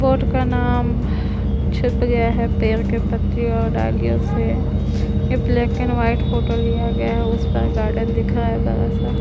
Board का नाम छुप गया है पेड़ के पत्तियों और डालियों से ये ब्लैक एंड वाइट फोटो लिया गया है उसपे गार्डन दिख रहा है बड़ा सा।